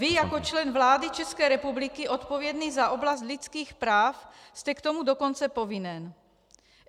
Vy jako člen vlády České republiky odpovědný za oblast lidských práv jste k tomu dokonce povinen.